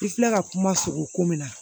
I filɛ ka kuma sogo ko min na